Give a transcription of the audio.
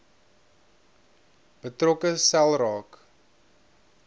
betrokke sel raak